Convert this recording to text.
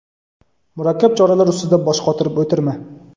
murakkab choralar ustida bosh qotirib o‘tirma.